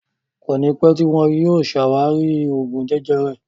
Kọ́ni pẹ tíì wọn yìí ó ṣe ṣé àwárí Oògún jẹjẹrẹ